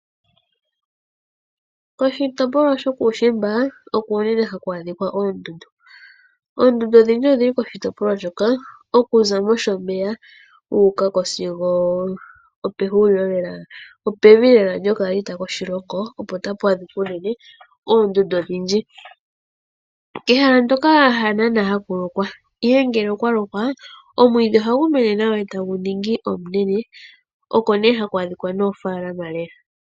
Koshitopolwa shokuushiimba oko unene haku adhika oondundu. Oondundu odhindji odhili koshitopolwa shoka okuza mOshomeya wu uka ko sigo opevi lela lyokaalita koshilongo opo tapu adhika unene oondundu odhindji. Ehala ndoka hanaanaa haku lokwa, ihe ngele okwa lokwa omwiidhi ohagu mene nawa tagu ningi omunene oko nee haku adhika noofaalama lela.